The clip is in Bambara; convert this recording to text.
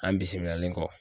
An bisimilalen kɔ